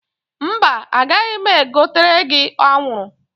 Mba, agaghị m egotere gi anwụrụ